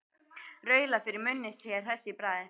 Raulaði fyrir munni sér hress í bragði.